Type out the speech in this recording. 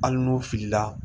Hali n'o filila